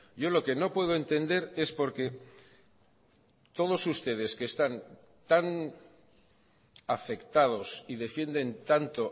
yo lo que no puedo entender es porque todos ustedes que están tan afectados y defienden tanto